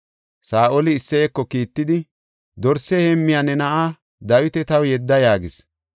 Saa7oli Isseyeko kiittidi, “Dorse heemmiya ne na7aa Dawita taw yedda” yaagis.